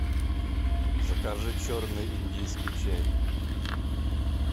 закажи черный индийский чай